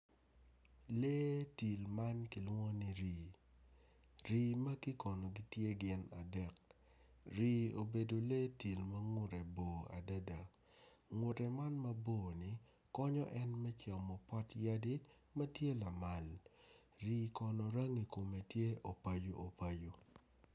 Lee tim man kilwongoni rii rii magi kono gitye gin adek rii obedo lee tim ma ngutre bor adada ngute man mabor ni konyo en me camo pot yadi ma tye lamal.